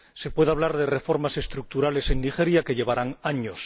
Se puede hablar de reformas estructurales en Nigeria que llevarán años.